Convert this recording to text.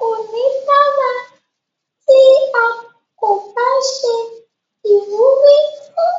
Kò ní dára tí à kò bá ṣe ìwúrí fún